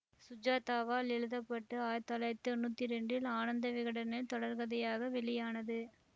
சுஜாதாவால் எழுத பட்டு ஆயிரத்தி தொள்ளாயிரத்தி தொன்னூத்தி இரண்டில் ஆனந்த விகடனில் தொடர்கதையாக வெளியானது